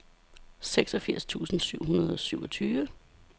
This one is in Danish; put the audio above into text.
seksogfirs tusind syv hundrede og syvogtyve